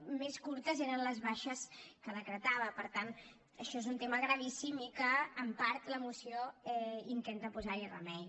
com més curtes eren les baixes que decretava per tant això és un tema gravíssim i que en part la moció intenta posar hi remei